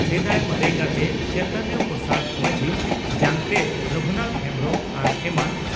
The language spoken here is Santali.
ᱥᱮᱫᱟᱭ ᱢᱟᱨᱮ ᱜᱟᱛᱮ (ᱪᱚᱭᱛᱚᱱ ᱯᱨᱚᱥᱟᱫᱽ ᱢᱟᱹᱡᱷᱤ), ᱡᱟᱝ ᱛᱮᱫ ᱨᱚᱜᱷᱩᱱᱟᱛᱷ ᱦᱮᱢᱵᱽᱨᱚᱢ ᱟᱨ ᱮᱢᱟᱱ ᱹᱹᱹᱹ